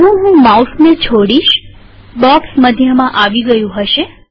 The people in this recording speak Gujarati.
જેવું હું માઉસ છોડીશબોક્સ મધ્યમાં આવી ગયું હશે